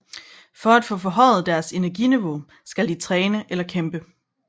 For at få forhøjet deres energiniveau skal de træne eller kæmpe